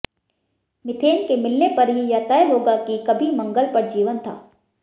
methane के मिलने पर ही यह तय होगा कि कभी मंगल पर जीवन था